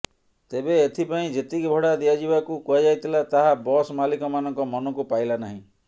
ତେବେ ଏଥିପାଇଁ ଯେତିକି ଭଡ଼ା ଦିଆଯିବାକୁ କୁହାଯାଇଥିଲା ତାହା ବସ୍ ମାଲିକମାନଙ୍କ ମନକୁ ପାଇଲା ନାହିଁ